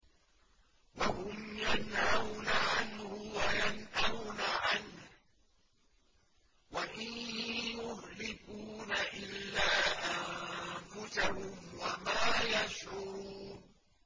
وَهُمْ يَنْهَوْنَ عَنْهُ وَيَنْأَوْنَ عَنْهُ ۖ وَإِن يُهْلِكُونَ إِلَّا أَنفُسَهُمْ وَمَا يَشْعُرُونَ